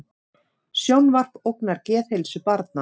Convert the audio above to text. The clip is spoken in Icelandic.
Sjónvarp ógnar geðheilsu barna